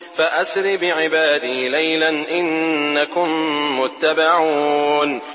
فَأَسْرِ بِعِبَادِي لَيْلًا إِنَّكُم مُّتَّبَعُونَ